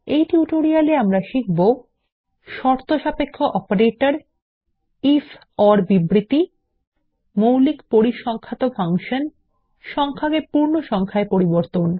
এই টিউটোরিয়ালে আমরা শিখব শর্তসাপেক্ষ অপারেটর আইএফ ওর বিবৃতি মৌলিক পরিসংখ্যান ফাংশন সংখ্যাকে পুর্ণসংখ্যায় পরিবর্তন